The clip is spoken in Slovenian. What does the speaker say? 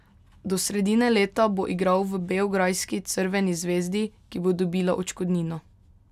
Do sredine leta bo igral v beograjski Crveni zvezdi, ki bo dobila odškodnino.